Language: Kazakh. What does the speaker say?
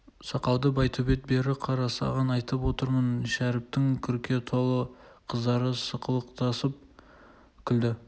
сақалды байтөбет бері қара саған айтып отырмын шәріптің күрке толы қыздары сықылықтасып күлді